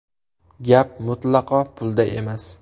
Gap mutlaqo pulda emas.